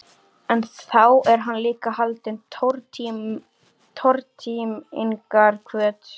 En þá er hann líka haldinn tortímingarhvöt.